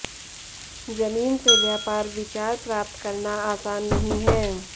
जमीन से व्यापार विचार प्राप्त करना आसान नहीं है